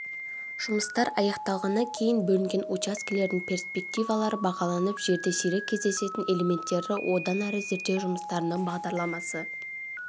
жұмыстар аяқталғаннан кейін бөлінген учаскелердің перспективалары бағаланып жерде сирек кездесетін элементтерді одан әрі зерттеу жұмыстарының бағдарламасы